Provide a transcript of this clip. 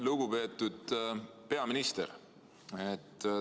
Lugupeetud peaminister!